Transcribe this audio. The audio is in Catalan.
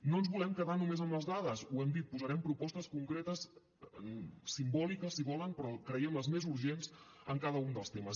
no ens volem quedar només amb les dades ho hem dit posarem propostes concretes simbòliques si volen però creiem les més urgents en cada un dels temes